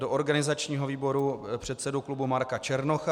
Do organizačního výboru předsedu klubu Marka Černocha.